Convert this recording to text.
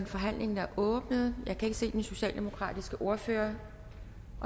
forhandlingen er åbnet jeg kan ikke se den socialdemokratiske ordfører